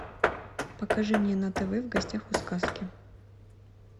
покажи мне на тв в гостях у сказки